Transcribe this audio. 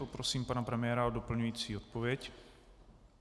Poprosím pana premiéra o doplňující odpověď.